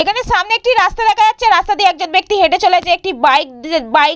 এখানে সামনে একটি রাস্তা দেখা যাচ্ছে রাস্তা দিয়ে একজন ব্যক্তি হেঁটে চলেছে। একটি বাইক দি এ বাইক --